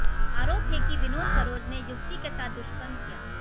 आरोप है कि विनोद सरोज ने युवती के साथ दुष्कर्म किया